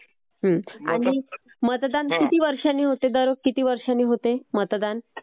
आणि मतदान किती वर्षांनी होते दर किती वर्षांनी होते मतदान?